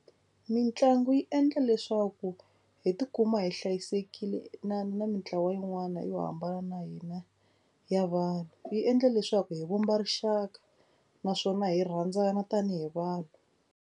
Mitlangu yi endla leswaku hi tikuma hi hlayisekile na na mitlawa yin'wana yo hambana na hina ya vanhu. Yi endla leswaku hi vumba rixaka naswona hi rhandzana tanihi vanhu.